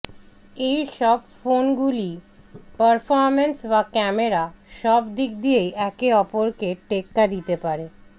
এই সব ফোন গুলিই পারফরমেন্স বা ক্যামেরা সব দিক দিয়েই একে অপরকে টেক্কা দিতে পারে